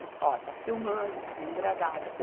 Ó, está filmando, está sendo gravado.